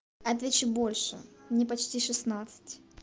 отвечу больше мне почти шестнадцать